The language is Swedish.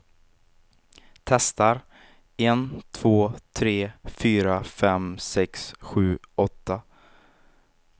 Testar en två tre fyra fem sex sju åtta.